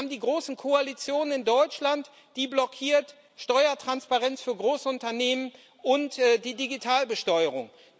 Wir haben die große Koalition in Deutschland, die blockiert Steuertransparenz für Großunternehmen und die Digitalbesteuerung.